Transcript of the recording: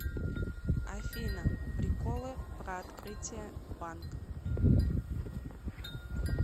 афина приколы про открытие банк